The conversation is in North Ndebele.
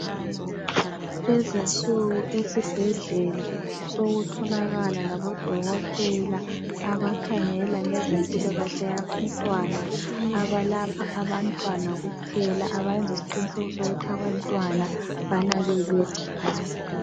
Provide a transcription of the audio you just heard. Lezinsuku esibhedlela sokutholakala labo dokotela abakhangela ngezempilakahle yabantwana abalapha abantwana kuphela abayenza isiqiniseko sokuthi abantwana banakekekile